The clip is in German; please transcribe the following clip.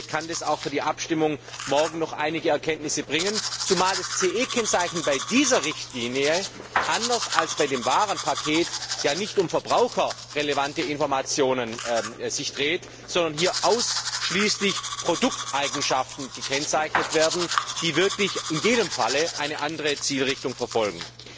Vielleicht kann das auch für die morgige Abstimmung noch einige Erkenntnisse bringen, zumal es ja beim CE Kennzeichen bei dieser Richtlinie anders als bei dem Warenpaket nicht um verbraucherrelevante Informationen geht, sondern hier ausschließlich Produkteigenschaften gekennzeichnet werden, die wirklich in jedem Fall eine andere Zielrichtung verfolgen.